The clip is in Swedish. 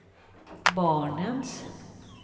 barnens